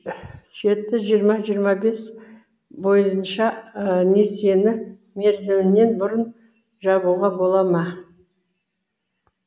жеті жиырма жиырма бес бойынша несиені мерзімінен бұрын жабуға бола ма